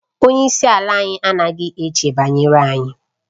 Onye isi ala anyị anaghị eche banyere anyị